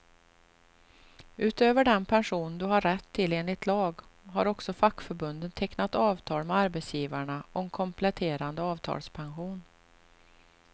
Utöver den pension du har rätt till enligt lag, har också fackförbunden tecknat avtal med arbetsgivarna om kompletterande avtalspension.